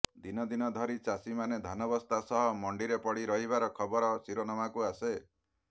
ଦିନ ଦିନ ଧରି ଚାଷୀମାନେ ଧାନବସ୍ତା ସହ ମଣ୍ଡିରେ ପଡ଼ି ରହିବାର ଖବର ଶିରୋନାମାକୁ ଆସେ